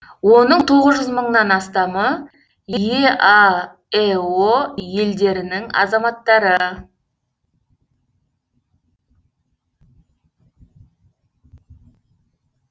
оның тоғыз жүз мыңнан астамы еаэо елдерінің азаматтары